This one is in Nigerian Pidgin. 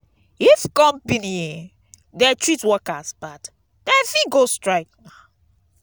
if company um dey treat workers bad dem fit go strike.